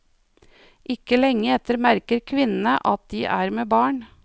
Ikke lenge etter merker kvinnene at de er med barn.